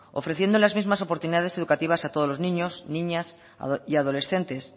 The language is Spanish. ofreciendo las mismas oportunidades educativas a todos los niños niñas y adolescentes